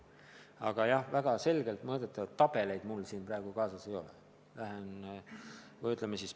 Aga väga selgelt mõõdetavate näitajatega tabeleid mul siin praegu kaasas ei ole.